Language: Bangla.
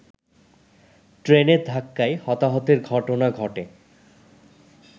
ট্রেনের ধাক্কায় হতাহতের ঘটনা ঘটে